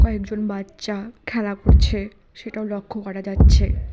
কয়েকজন বাচ্চা খেলা করছে সেটাও লক্ষ্য করা যাচ্ছে।